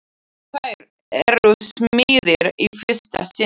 Fáir eru smiðir í fyrsta sinn.